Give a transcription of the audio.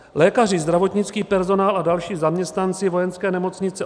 Lékaři, zdravotnický personál a další zaměstnanci Vojenské nemocnice